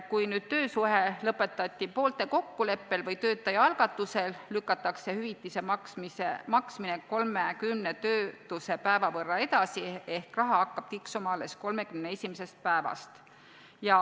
Kui nüüd töösuhe lõpetati poolte kokkuleppel või töötaja algatusel, lükatakse hüvitise maksmine 30 töötusepäeva võrra edasi ehk raha hakkab tiksuma alles 31. päevast.